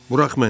Burax məni!